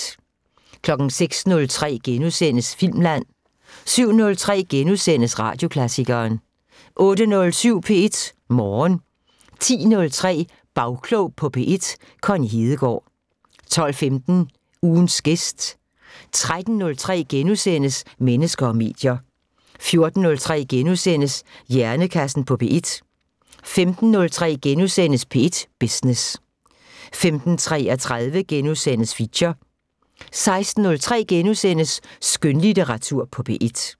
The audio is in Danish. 06:03: Filmland * 07:03: Radioklassikeren * 08:07: P1 Morgen 10:03: Bagklog på P1: Connie Hedegaard 12:15: Ugens gæst 13:03: Mennesker og medier * 14:03: Hjernekassen på P1 * 15:03: P1 Business * 15:33: Feature * 16:03: Skønlitteratur på P1 *